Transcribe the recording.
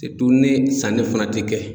ni sanni fana tɛ kɛ.